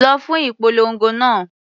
Lọ fún ìpolongo náà.